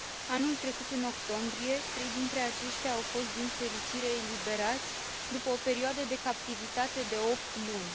Anul trecut, în octombrie, trei dintre aceștia au fost, din fericire, eliberați, după o perioadă de captivitate de opt luni.